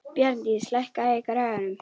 Bjarndís, lækkaðu í græjunum.